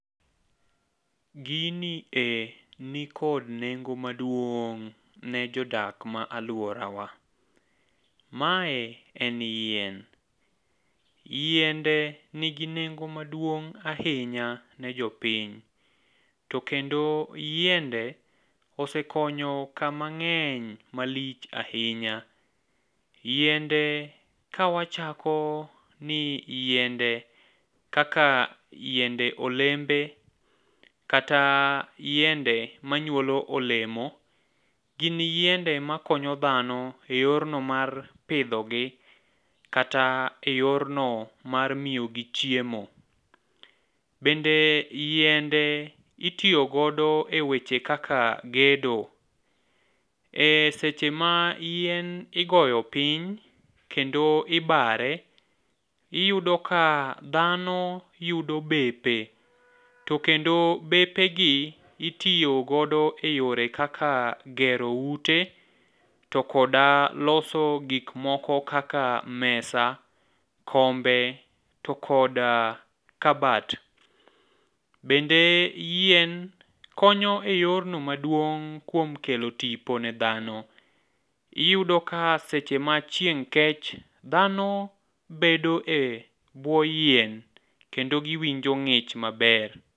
Gini e nikod nengo maduong' ne jodak ma alworawa, mae en yien, yiende nigi nengo maduong' ahinya ne jopiny to kendo yiende osekonyo kama ng'eny malich ahinya . Yiende ka wachako ni yiende kaka yiende olembe kata yiende manyuolo olemo gin yiende makonyo dhano e yorno mar pidhogi kata e yorno mar miyo gi chiemo. Bende yiende itiyo godo e weche kaka gedo,e seche ma yien igoyo piny, kendo ibare, iyudo ka dhano yudo bepe to kendo bepegi itiyo godo e yore kaka gero ute, to kod loso gik moko kaka mesa, kombe to kod kabat. Bende yien konyo e yorno maduong' kuom kelo tipo ne dhano, iyudo ka seche ma chieng' kech, dhano bedo e bwo yien kendo giwinjo ng'ich maber.